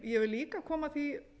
ég vil líka koma því